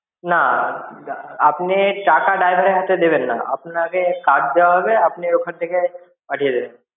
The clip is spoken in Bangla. না আপনি টাকা driver এর হাতে দেবেন না আপনাকে card দেয়া হবে আপনি ওখান থেকে পাঠিয়ে দেবেন.